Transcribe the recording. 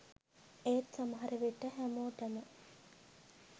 ඒත් සමහර විට හැමෝටම